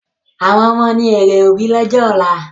Àwọn ọmọ ni èrè òbí lọ́jọ́ ọ̀la